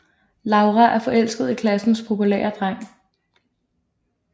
Laura er forelsket i klassens populære dreng